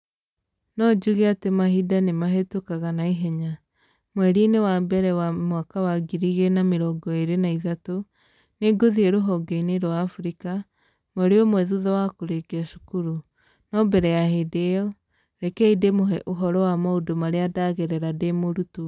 No njuge atĩ mahinda nĩ mahĩtũkaga na ihenya! Mweri-inĩ wa mbere wa 2023, nĩ ngũthiĩ rũhonge-inĩ rwa Africa, mweri ũmwe thutha wa kũrĩkia cukuru, no mbere ya hĩndĩ ĩyo, rekei ndĩmũhe ũhoro wa maũndũ marĩa ndagerera ndĩ mũrutwo.